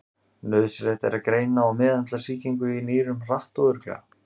Nauðsynlegt er að greina og meðhöndla sýkingu í nýrum hratt og örugglega.